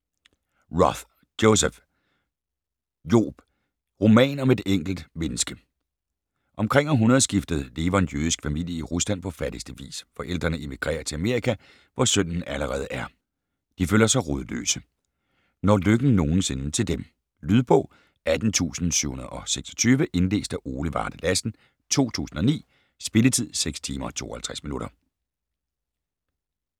Roth, Joseph: Job: roman om et enkelt menneske Omkring århundredeskiftet lever en jødisk familie i Rusland på fattigste vis. Forældrene emigrerer til Amerika, hvor sønnen allerede er. De føler sig rodløse. Når lykken nogensinde til dem? Lydbog 18726 Indlæst af Ole Varde Lassen, 2009. Spilletid: 6 timer, 52 minutter.